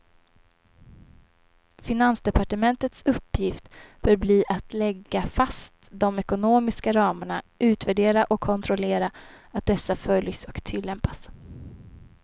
Finansdepartementets uppgift bör bli att lägga fast de ekonomiska ramarna, utvärdera och kontrollera att dessa följs och tillämpas.